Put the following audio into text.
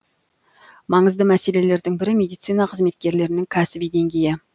маңызды мәселелердің бірі медицина қызметкерлерінің кәсіби деңгейі